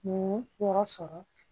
Nin yɔrɔ sɔrɔ